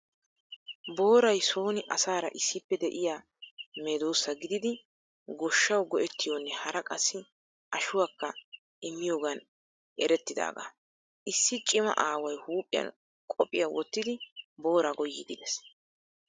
Booray sooni asaara issippe de'iyaa meedoosa gididi goshshawu go"ettiyoonne hara qassi ashshuwaakka immiyoogan etetidaagaa. Issi cima aaway huuphiyan qophiyaa wottidi booraa goyyiidi de'ees.